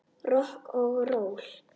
Rokk og ról.